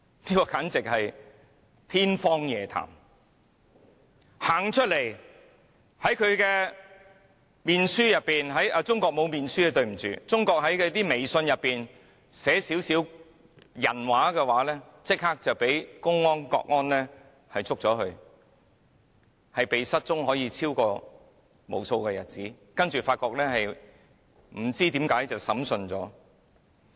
只要有人走出來，或在臉書——對不起，中國沒有臉書——在微信上寫一些"人話"，立刻會被公安、國安拘捕，可以被失蹤無數日子，然後不知何故，便已經被審訊了。